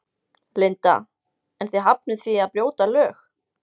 Linda: En þið hafnið því að brjóta lög?